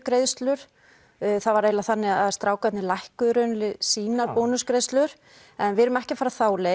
greiðslur það var eiginlega þannig að strákarnir lækkuðu í raun sínar bónusgreiðslur en við erum ekki að fara þá leið